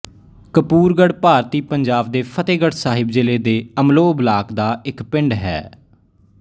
ਕਪੂਰਗੜ੍ਹ ਭਾਰਤੀ ਪੰਜਾਬ ਦੇ ਫ਼ਤਹਿਗੜ੍ਹ ਸਾਹਿਬ ਜ਼ਿਲ੍ਹੇ ਦੇ ਅਮਲੋਹ ਬਲਾਕ ਦਾ ਇੱਕ ਪਿੰਡ ਹੈ